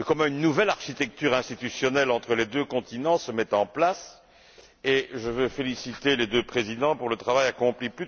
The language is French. Une nouvelle architecture institutionnelle entre les deux continents se met en place et je veux féliciter les deux présidents pour le travail accompli.